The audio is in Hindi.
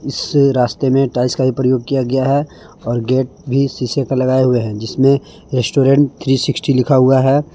इस रास्ते में टाइल्स का ही प्रयोग किया गया है और गेट भी शीशे का लगाए हुवे जिसमें रेस्टोरेंट थ्री सिस्कटी लिखा हुआ है।